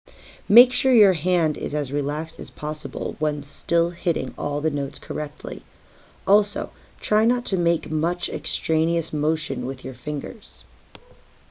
make sure your hand is as relaxed as possible while still hitting all the notes correctly also try not to make much extraneous motion with your fingers